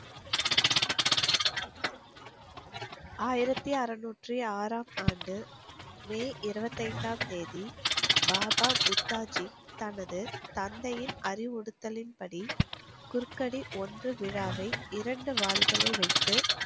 ஆயிரத்து அறநூற்றி ஆறாம் ஆண்டு, மே இருபத்தைந்தாம் தேதி, பாபா முப்தாஜி, தமது தந்தையின் அறிவுருத்திலின்படி, குருக்கதி ஒன்று விழாவை இரண்டு வாள்களை வைத்து,